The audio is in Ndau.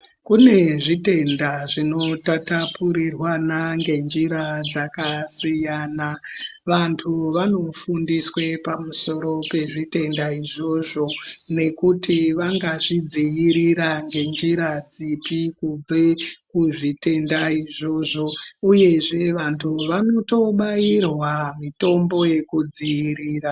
Kune zvitenda zvinotatapurirwana ngenjira dzakasiyana, vantu vonofundiswe pamusoro pezvitenda izvozvo nekuti vangazvidzivirira ngenjira dzipi kubve kuzvitenda izvozvo uyezve vantu vanotobairwa mitombo yekudziirira.